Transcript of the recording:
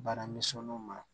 Bana misɔninw ma